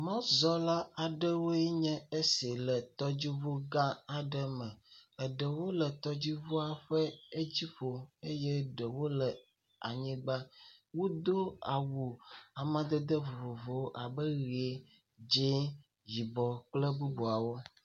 Mɔzɔla aɖewoe nye esi le tɔdziŋugã aɖe me. Eɖewo le tɔdziŋua ƒe edziƒo eye ɖewo le anyigba. Wodo awu amadede vovovowo abe ʋi, dzi, yibɔ, kple bububawo